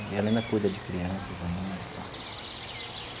E ela ainda cuida de crianças ainda e tal.